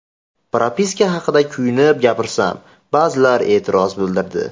Propiska haqida kuyunib gapirsam, ba’zilar e’tiroz bildirdi.